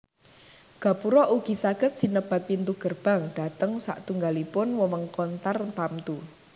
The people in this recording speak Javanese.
Gapura ugi saged sinebat pintu gerbang dhateng satunggalipun wewengkon tartamtu